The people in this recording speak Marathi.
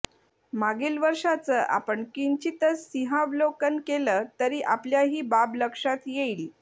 मागील वर्षाचं आपण किंचितसं सिंहावलोकन केलं तरी आपल्या ही बाब लक्षात येईल